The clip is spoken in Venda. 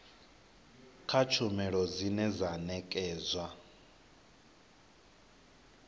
kha tshumelo dzine dza nekedzwa